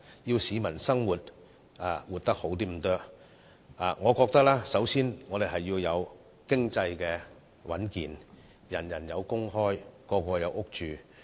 想市民改善生活，我認為首要須做到經濟穩健，人人有工作，大家有屋住。